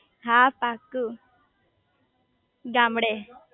હા પાકુ ગામડે